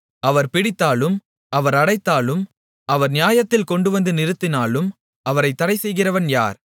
அவர் பிடித்தாலும் அவர் அடைத்தாலும் அவர் நியாயத்தில் கொண்டுவந்து நிறுத்தினாலும் அவரைத் தடை செய்கிறவன் யார்